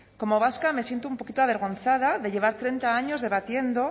como vasca me siento avergonzada de llevar treinta años debatiendo